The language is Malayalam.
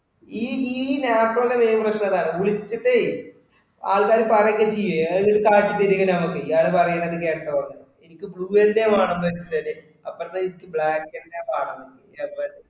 ഈ Naptol ഇന്റെ main പ്രശ്‍നം അതാണ് വിളിച്ചിട്ടേ ആൾക്കാര് പറയുവേം ഒക്കെ ചെയ്യും. എന്നിട്ടിത് കാട്ടി തരും ഇങ്ങനാ okay ഇയാള് പറയുന്നത് കേട്ടോന്ന്. എനിക്ക് blue തന്നെ വേണവെന്നു വെച്ചിട്ടല്ലേ അപ്പുറത്തെ ഇജ്ജ് black തന്നെയാ കാണുന്നത് എവിടെ